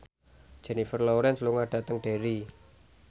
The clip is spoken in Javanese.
Jennifer Lawrence lunga dhateng Derry